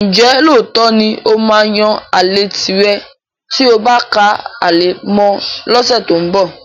Ǹjẹ́ lóòótọ́ ni ó máa yan àlè tìrẹ tí o bá ká ale mọ́ ọn lọ́sẹ̀ tó ń bọ̀?